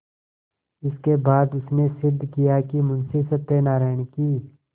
इसके बाद उसने सिद्ध किया कि मुंशी सत्यनारायण की